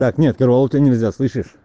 так нет корвалол тебе нельзя слышишь